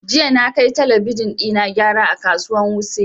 Jiya na kai talabijin ɗina gyara a kasuwan wuse